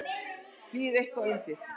Það býr eitthvað undir.